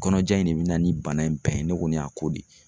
Kɔnɔja in de be na ni bana in bɛɛ ye, ne kɔni y'a k'o de.